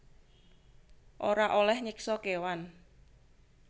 Ora olèh nyiksa kéwan